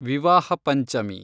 ವಿವಾಹ ಪಂಚಮಿ